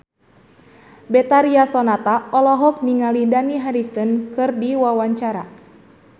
Betharia Sonata olohok ningali Dani Harrison keur diwawancara